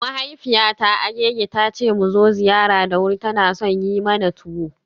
Mahaifiyata Agege ta ce mu zo ziyara da wuri, tana son yi mana tuwo.